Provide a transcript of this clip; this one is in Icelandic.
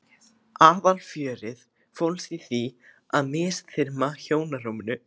Aðalfjörið fólst þó í að misþyrma hjónarúminu.